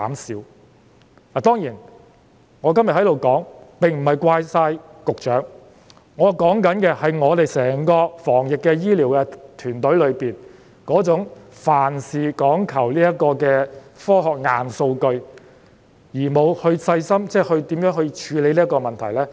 當然，今天我在這裏不是要完全怪責局長，我想指出的，是整個防疫團隊的問題，即那種凡事只講科學硬數據，而沒有細心考慮如何處理問題的情況。